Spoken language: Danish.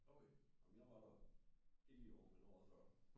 Okay nå men jeg var der ikke lige i år men året før